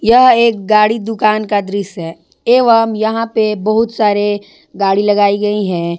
यह एक गाड़ी दुकान का दृश्य है एवम यहां पे बहोत सारे गाड़ी लगाई गई है।